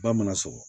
Ba mana sɔgɔ